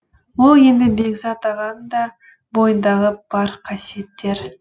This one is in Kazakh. ол енді бекзат ағаның да бойындағы бар қасиеттер